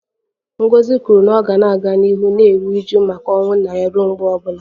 Ngozi kwuru na ọ ga-aga n'ihu na-eru uju maka ọnwụ nna ya ruo mgbe ọ bụla